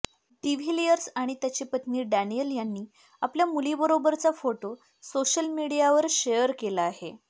de Villiers आणि त्याची पत्नी डॅनियल यांनी आपल्या मुलीबरोबरचा फोटो सोशल मीडियावर शेअर केला आहे